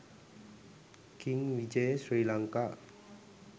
king vijaya srilanaka